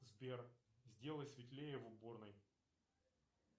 сбер сделай светлее в уборной